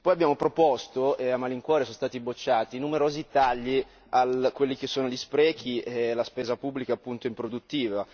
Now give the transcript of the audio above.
Poi abbiamo proposto e a malincuore sono stati bocciati, numerosi tagli a quelli che sono gli sprechi e la spesa pubblica appunto improduttiva.